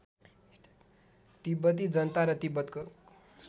तिब्बती जनता र तिब्बतको